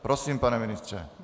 Prosím, pane ministře.